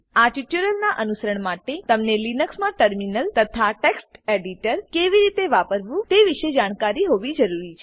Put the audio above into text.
આ ટ્યુટોરીયલનાં અનુસરણ માટે તમને લીનક્સમાં ટર્મિનલ તથા ટેક્સ્ટ એડીટર કેવી રીતે વાપરવું તે વિશે જાણકારી હોવી જરૂરી છે